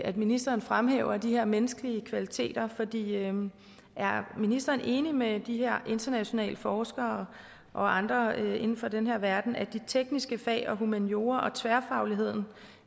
at ministeren fremhæver de her menneskelige kvaliteter er ministeren enig med de her internationale forskere og andre inden for den her verden i at de tekniske fag og humaniora og tværfagligheden